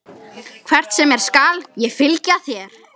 Hvert sem er skal ég fylgja þér.